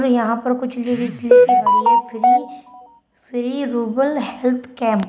यहां पर कुछ लिरिक्स लिखी है फ्री फ्री रूबल हेल्थ कैंप ।